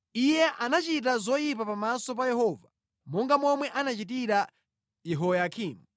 Iye anachita zoyipa pamaso pa Yehova, monga momwe anachitira Yehoyakimu.